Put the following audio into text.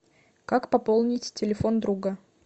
как пополнить телефон друга